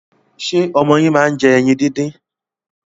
Ṣé ọmọ yín máa ń jẹ ẹyin díndín?